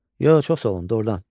Yox, çox sağ olun, doğrudan.